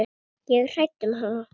Ég er hrædd um hana.